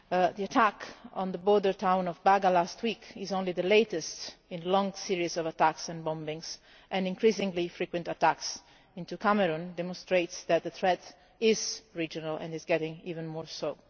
The attack on the border town of Baga last week is only the latest in a long series of attacks and bombings, and increasingly frequent attacks into Cameroon demonstrate that the threat is regional and is becoming even more so.